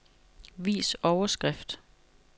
Vis overskrift.